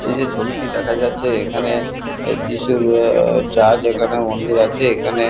এই যে ছবিটি দেখা যাচ্ছে এখানে যীশুর চাঁদ মন্দির আছে এখানে।